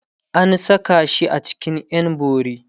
an Saka shi a cikin ƴan bori